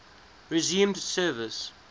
resumed service